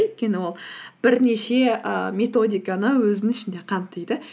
өйткені ол бірнеше і методиканы өзінің ішінде қамтиды